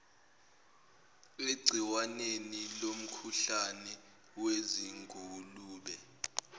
egciwaneni lomkhuhlane wezingulube